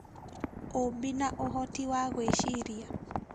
Ũũmbi na ũhoti wa gwĩciria: